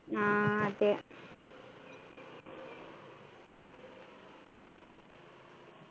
ആഹ് അതെ